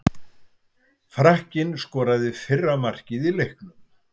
Frakkinn skoraði fyrra markið í leiknum.